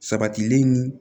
Sabatilen ni